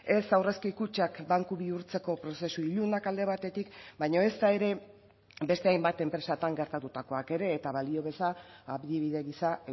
ez aurrezki kutxak banku bihurtzeko prozesu ilunak alde batetik baina ezta ere beste hainbat enpresatan gertatutakoak ere eta balio beza adibide gisa